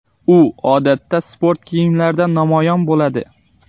U odatda sport kiyimlarida namoyon bo‘ladi.